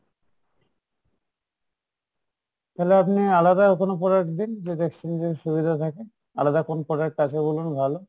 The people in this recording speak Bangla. তাহলে আপনি আলাদা কোনো product দিন যেটা exchange এর সুবিধা থাকে আলাদা কোন product আছে বলেন ভালো?